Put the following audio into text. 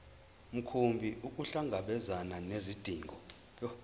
mkhumbi ukuhlangabezana nezidingo